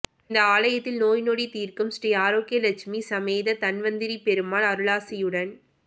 இந்த ஆலயத்தில் நோய் நொடி தீர்க்கும் ஸ்ரீ ஆரோக்கிய லட்சுமி சமேத தன்வந்திரி பெருமாள் அருளாசியுடன்